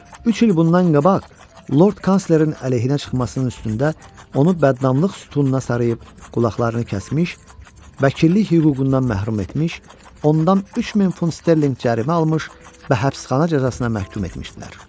Üç il bundan qabaq Lord Kanslerin əleyhinə çıxmasının üstündə, onu bədnamlıq sütununa sarıyıb qulaqlarını kəsmiş, vəkillik hüququndan məhrum etmiş, ondan 3000 funt sterlinq cərimə almış və həbsxana cəzasına məhkum etmişdilər.